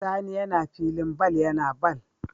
Sani yAna filin ball yAna ball